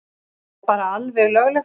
Það er bara alveg löglegt.